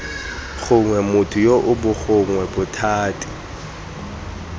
gongwe motho yoo gongwe bothati